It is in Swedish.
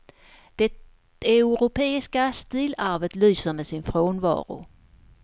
Det europeiska stilarvet lyser med sin frånvaro.